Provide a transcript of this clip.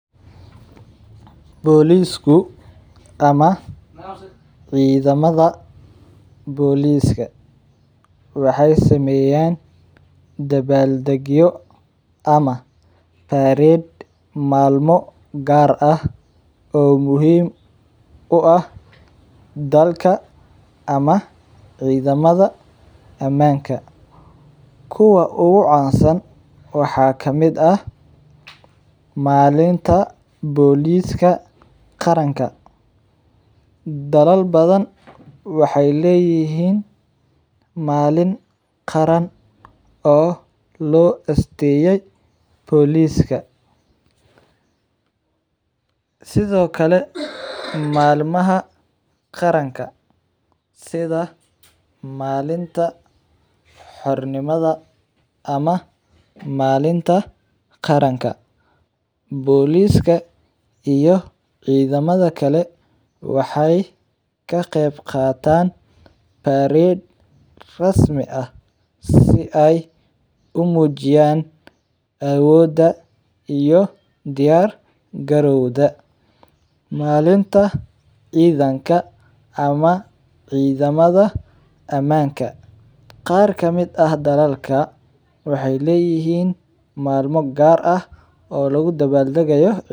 Bolisku ama cidhamaada boliska waxee sameyan dabaldagyo ama parade malmo gar ah oo aad muhiim u ah dalka ama cidhamaada amanka kuwa ugu cansan waxaa kamiid ah malinta boliska qaranka dalal badan waxee leyihin malin qaran oo lo asteye boliska sithokale malmaha qaranka sitha malinta xor nimaada ama malinta qaranka boliska iyo cidhamaada kale waxee ka qeb qatan parade rasmi ah si ee umujiyan awoda iyo diyar galiwga malinta cidhanka ama cidhamaada amanka qar kamiid ah waxee leyihin malmo gar ah oo lagu dabal dagayo.